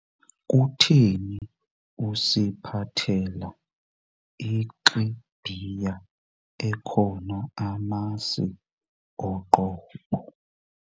Kutheni usiphathela ixibhiya ekhona amasi oqobo?